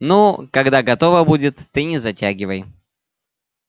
ну когда готово будет ты не затягивай